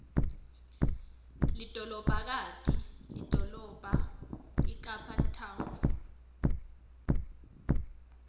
lidolobhakati lidolobhacape town